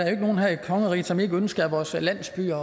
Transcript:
er nogen her i kongeriget som ikke ønsker at vores landsbyer